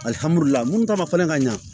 munnu ta ma fɛnɛ ka ɲa